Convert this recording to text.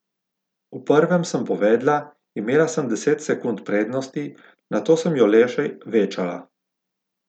V prvem sem povedla, imela sem deset sekund prednosti, nato sem jo le še večala.